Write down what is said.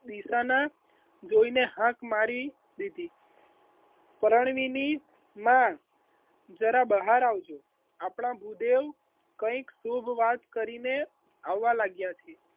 ડીસાના જોઈને હાથ મારી દીધી પરંતુ એની માં જરા બહાર આવજો આપના ભૂદેવ આવવા લાગ્યા